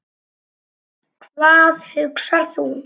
Hvað hugsar þú?